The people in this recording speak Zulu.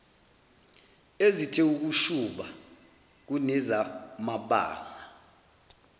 ezithe ukushuba kunezamabanga